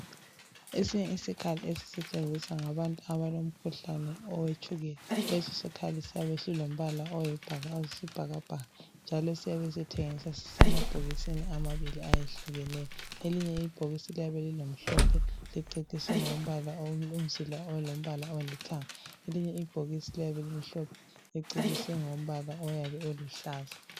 Esinye isikhali esisetshenziswa ngabantu abalomkhuhlane owetshukela leso sikhali siyabe silompala oyisibhakabhaka njalo siyabe sithengiswa sisemabhokisini amabili ayehlukeneyo. Elinye ibhokisi liyabe lingelimhlophe liceciswe ngomzila olompala olithanga elinye ibhokisi limhlophe liceciswe ngompala oyabe uluhlaza